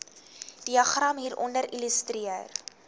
diagram hieronder illustreer